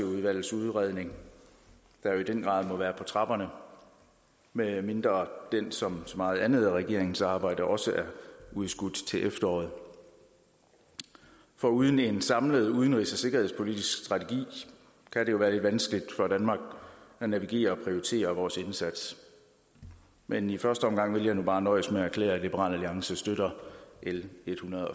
udvalgets udredning der jo i den grad må være på trapperne medmindre den som så meget andet af regeringens arbejde også er udskudt til efteråret for uden en samlet udenrigs og sikkerhedspolitisk strategi kan det jo være lidt vanskeligt for danmark at navigere og prioritere vores indsats men i første omgang vil jeg nu bare nøjes med at erklære at liberal alliance støtter l ethundrede